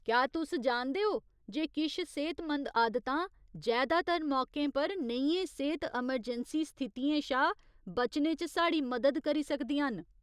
क्या तुस जानदे ओ जे किश सेह्तमंद आदतां जैदातर मौकें पर नेहियें सेह्त अमरजैंसी स्थितियें शा बचने च साढ़ी मदद करी सकदियां न ?